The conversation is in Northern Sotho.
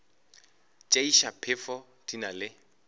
tšeiša phefo di na le